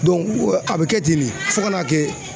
a bɛ kɛ ten de fo ka n'a kɛ